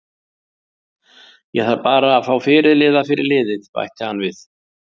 Ég þarf bara að fá fyrirliða fyrir liðið, bætti hann við.